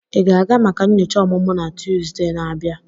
Ị ga-aga maka nyocha ọmụmụ na Tuesday na-abịa?